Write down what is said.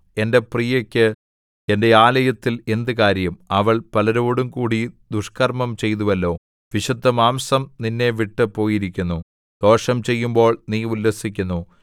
എന്റെ പ്രിയക്ക് എന്റെ ആലയത്തിൽ എന്ത് കാര്യം അവൾ പലരോടുംകൂടി ദുഷ്കർമ്മം ചെയ്തുവല്ലോ വിശുദ്ധമാംസം നിന്നെ വിട്ടു പോയിരിക്കുന്നു ദോഷം ചെയ്യുമ്പോൾ നീ ഉല്ലസിക്കുന്നു